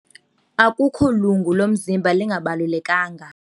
Akukho lungu lomzimba lingabalulekanga.